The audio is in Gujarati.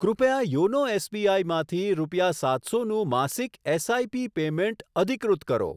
કૃપયા યોનો એસબીઆઈ માંથી રૂપિયા સાતસોનું માસિક એસઆઈપી પેમેંટ અધિકૃત કરો.